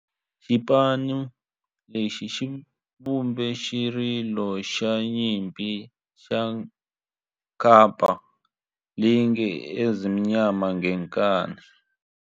Xipano lexi xi vumbe xirilo xa nyimpi xa kampa lexi nge 'Ezimnyama Ngenkani'.